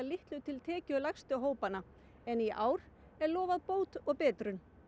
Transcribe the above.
litlu til tekjulægstu hópanna en í ár er lofað bót og betrun